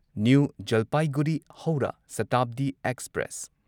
new Jalpaiguri ꯍꯧꯔꯥ ꯁꯇꯥꯕꯗꯤ express